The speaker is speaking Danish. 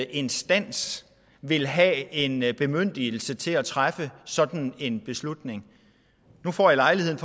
instans vil have en bemyndigelse til at træffe sådan en beslutning nu får jeg lejligheden